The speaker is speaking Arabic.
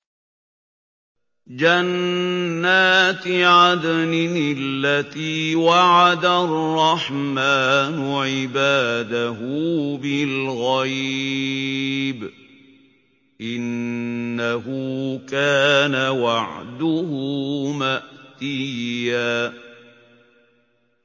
جَنَّاتِ عَدْنٍ الَّتِي وَعَدَ الرَّحْمَٰنُ عِبَادَهُ بِالْغَيْبِ ۚ إِنَّهُ كَانَ وَعْدُهُ مَأْتِيًّا